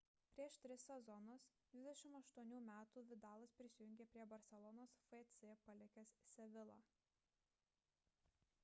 prieš tris sezonus 28 metų vidalas prisijungė prie barselonos fc palikęs sevilla